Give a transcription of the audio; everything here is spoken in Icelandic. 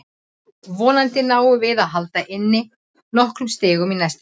Vonandi náum við að hala inn nokkrum stigum í næstu leikjum.